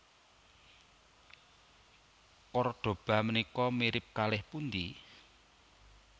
Kordoba menika mirip kalih pundi?